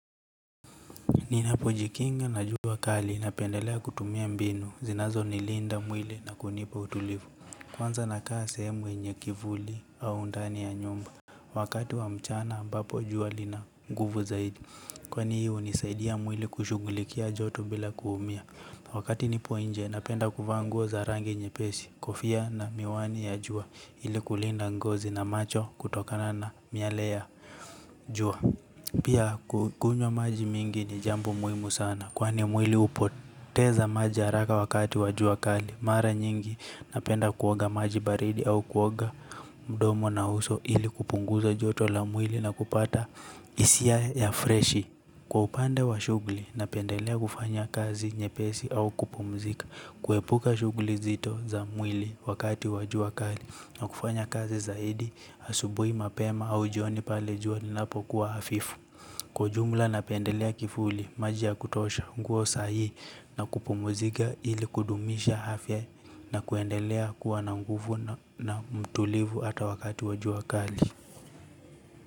Ninapojikinga na jua kali, napendelea kutumia mbinu zinazonilinda mwili na kunipa utulivu. Kwanza nakaa sehemu yenye kivuli au ndani ya nyumba wakati wa mchana ambapo jua lina nguvu zaidi. Kwani hii hunisaidia mwili kushughulikia joto bila kuumia. Wakati nipo nje napenda kuvaa nguo za rangi nyepesi kofia na miwani ya jua. Ili kulinda ngozi na macho kutokana na miale ya jua. Pia kukunywa maji mingi ni jambo muhimu sana kwani mwili hupoteza maji haraka wakati wa jua kali. Mara nyingi napenda kuoga maji baridi au kuoga mdomo na uso ili kupunguza joto la mwili na kupata hisia ya freshi. Kwa upande wa shughuli napendelea kufanya kazi nyepesi au kupumzika. Kuepuka shughuli nzito za mwili wakati wa jua kali na kufanya kazi zaidi, asubuhi mapema au jioni pale jua linapokuwa hafifu. Kwa ujumla napendelea kivuli, maji ya kutosha nguo sahihi na kupumzika ili kudumisha afya na kuendelea kuwa na nguvu na mtulivu hata wakati wa jua kali.